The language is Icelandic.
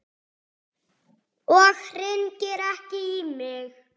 Og hringir ekki í mig.